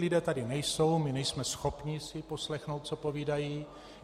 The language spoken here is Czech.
Lidé tady nejsou, my nejsme schopni si poslechnout, co povídají.